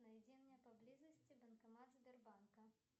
найди мне поблизости банкомат сбербанка